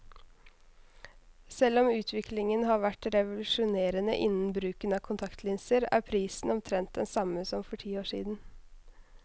Selv om utviklingen har vært revolusjonerende innen bruken av kontaktlinser, er prisen omtrent den samme som for ti år siden.